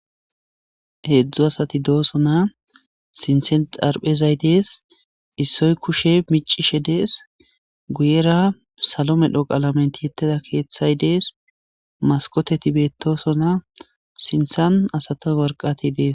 Heedzdzu asati dooso na sintsen xarphezay dees issoy kushe micishe dees guyera salo medho qalamenti yetteda keeththay dees maskoteti beettoso na sintan asato warqati dees